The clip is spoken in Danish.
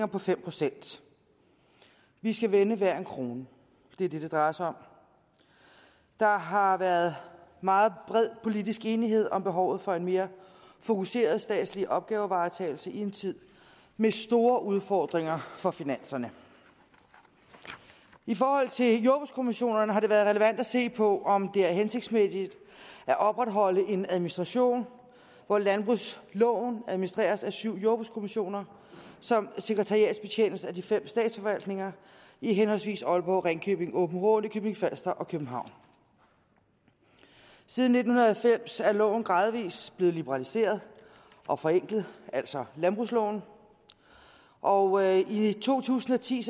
på fem procent vi skal vende hver en krone det er det det drejer sig om der har været meget bred politisk enighed om behovet for en mere fokuseret statslig opgavevaretagelse i en tid med store udfordringer for finanserne i forhold til jordbrugskommissionerne har det været relevant at se på om det er hensigtsmæssigt at opretholde en administration hvor landbrugsloven administreres af syv jordbrugskommissioner som sekretariatsbetjenes af de fem statsforvaltninger i henholdsvis aalborg ringkøbing aabenraa nykøbing falster og københavn siden nitten halvfems er loven gradvis blevet liberaliseret og forenklet altså landbrugsloven og i to tusind og ti